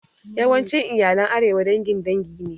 Yawancin iyalan arewa dangin dangi ne